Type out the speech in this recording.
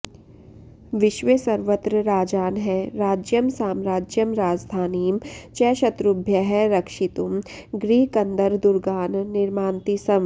विश्वे सर्वत्र राजानः राज्यं साम्राज्यं राजधानीं च शत्रुभ्यः रक्षितुं गिरिकन्दरदुर्गान् निर्मान्ति स्म